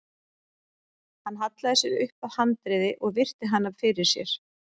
Hann hallaði sér upp að handriði og virti hana fyrir sér.